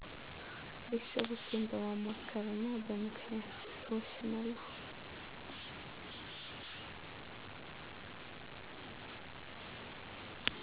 ቤተሰቦቸን በማማከርና በምክንያት እወስናለሁ።